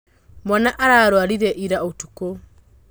Mwana ararwarire ira ũtukũ.